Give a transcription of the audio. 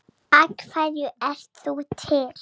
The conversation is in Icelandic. Af hverju ert þú til?